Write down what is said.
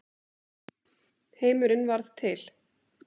Heimurinn varð til.